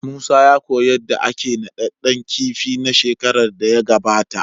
Musa ya koyi yadda ake naɗaɗɗan kifi na shekaran da ya gabata.